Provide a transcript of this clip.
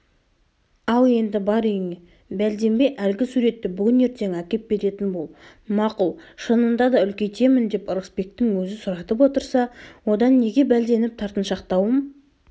ал енді бар үйіңе бәлденбей әлгі суретті бүгін-ертең әкеп беретін бол мақұл шынында да үлкейтемін деп ырысбектің өзі сұратып отырса одан неге бәлденіп тартыншақтауым